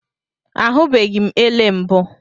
Ahụbeghị m ele mbụ